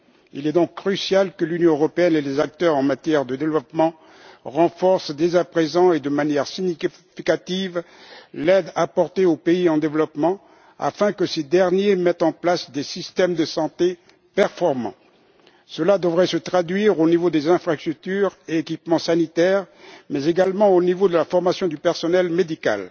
Il est donc crucial que l'Union européenne et les acteurs en matière de développement renforcent dès à présent et de manière significative l'aide apportée aux pays en développement afin que ces derniers mettent en place des systèmes de santé performants. Cela devrait se traduire au niveau des infrastructures et des équipements sanitaires, mais également au niveau de la formation du personnel médical.